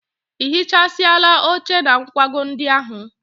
I hichasịala oche na nkwago ndị ahụ?